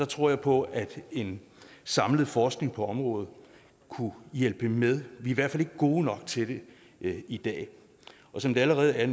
tror på at en samlet forskning på området kunne hjælpe med vi er i hvert fald ikke gode nok til det i dag som det allerede er